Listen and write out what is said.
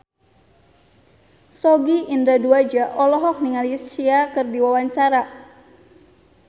Sogi Indra Duaja olohok ningali Sia keur diwawancara